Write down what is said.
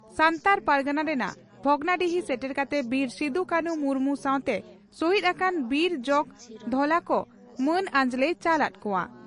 ᱫᱚ ᱥᱟᱱᱛᱟᱲ ᱯᱟᱨᱜᱟᱱᱟ ᱨᱮᱱᱟᱜ ᱵᱷᱚᱜᱽᱱᱟᱰᱤᱦᱤ ᱥᱮᱴᱮᱨ ᱠᱟᱛᱮ ᱵᱤᱨ ᱥᱤᱫᱩᱼᱠᱟᱹᱱᱦᱩ ᱢᱩᱨᱢᱩ ᱥᱟᱣᱛᱮ ᱥᱚᱦᱤᱫᱽ ᱟᱠᱟᱱ ᱵᱤᱨ ᱡᱚᱜᱽ ᱫᱷᱚᱞᱟ ᱠᱚ ᱢᱟᱹᱱ ᱟᱸᱡᱽᱞᱮᱭ ᱪᱟᱞ ᱟᱫ ᱠᱚᱣᱟ ᱾